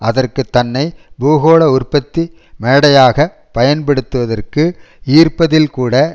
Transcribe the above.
அதற்கு தன்னை பூகோள உற்பத்தி மேடையாகப் பயன்படுத்துவதற்கு ஈர்ப்பதில் கூட